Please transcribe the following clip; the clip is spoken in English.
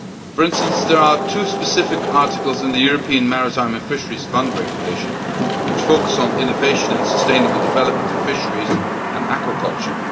For instance, there are two specific articles in the European Maritime and Fisheries Fund Regulation which focus on innovation and sustainable development of fisheries and aquaculture